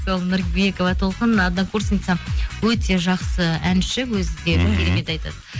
сол нұрбекова толқын однокурсницам өте жақсы әнші өзі де мхм керемет айтады